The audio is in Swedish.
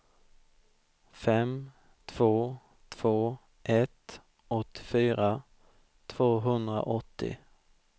fem två två ett åttiofyra tvåhundraåttio